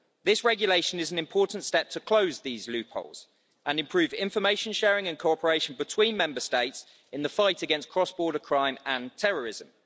This regulation is an important step to close these loopholes and improve information sharing and cooperation between Member States in the fight against cross border crime and terrorism.